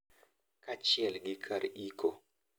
Kaachiel gi kar iko.